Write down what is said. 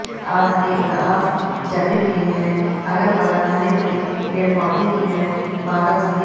और हरी घास जमी हुई हैं अगल-बगल हरे-भरे पेड़-पौधे भी है बादल सफेद --